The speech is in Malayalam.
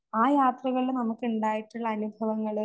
ആ യാത്രകളില് നമുക്ക് ഇണ്ടായിട്ടുള്ള അനുഭവങ്ങള്